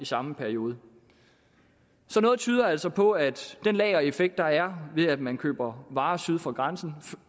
samme periode så noget tyder altså på at den lagereffekt der er ved at man køber varer syd for grænsen